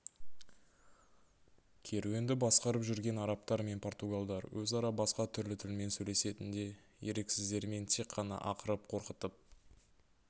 керуенді басқарып жүрген арабтар мен португалдар өзара басқа түрлі тілмен сөйлесетін де еріксіздермен тек қана ақырып қорқытып